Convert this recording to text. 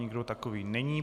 Nikdo takový není.